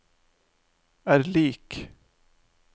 er lik